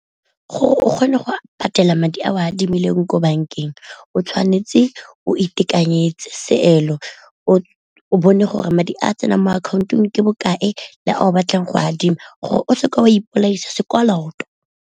Gore o kgone go patela madi a o a adimileng ko bankeng o tshwanetse o itekanyetse seelo, o bone gore madi a tsenang mo akhaontong ke bokae le a o batlang go adima gore o seke wa ipolaisa sekoloto.